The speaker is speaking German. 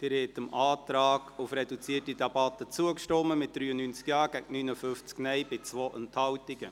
Sie haben dem Antrag auf reduzierte Debatte zugestimmt, mit 93 Ja- gegen 59 NeinStimmen bei 2 Enthaltungen.